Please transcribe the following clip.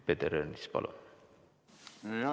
Peeter Ernits, palun!